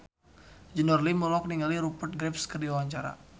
Junior Liem olohok ningali Rupert Graves keur diwawancara